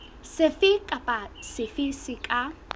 sefe kapa sefe se ka